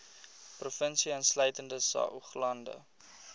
provinsie insluitende saoglande